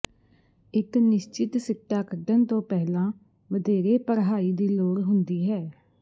ਇੱਕ ਨਿਸ਼ਚਿਤ ਸਿੱਟਾ ਕੱਢਣ ਤੋਂ ਪਹਿਲਾਂ ਵਧੇਰੇ ਪੜ੍ਹਾਈ ਦੀ ਲੋੜ ਹੁੰਦੀ ਹੈ